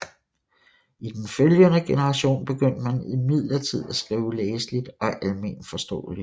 I den følgende generation begyndte man imidlertid at skrive læseligt og almenforståeligt